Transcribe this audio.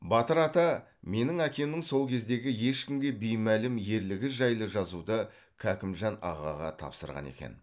батыр ата менің әкемнің сол кездегі ешкімге беймәлім ерлігі жайлы жазуды кәкімжан ағаға тапсырған екен